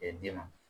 den ma